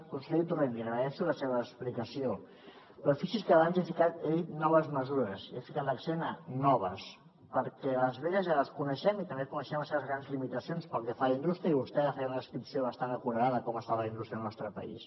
conseller torrent li agraeixo la seva explicació però fixi’s que abans he dit noves mesures i he ficat l’accent a noves perquè les velles ja les coneixem i també coneixem les seves grans limitacions pel que fa a la indústria i vostè ja feia una descripció bastant acurada de com està la indústria al nostre país